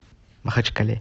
махачкале